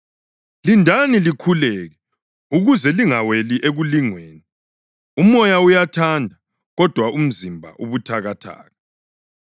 Lindani likhuleke ukuze lingaweli ekulingweni. Umoya uyathanda, kodwa umzimba ubuthakathaka.”